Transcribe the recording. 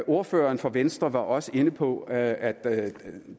ordføreren fra venstre var også inde på at at